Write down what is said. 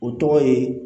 O tɔgɔ ye